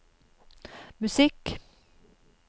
musikk